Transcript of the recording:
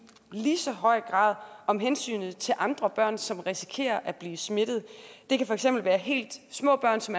i lige så høj grad om hensynet til andre børn som risikerer at blive smittet det kan for eksempel være helt små børn som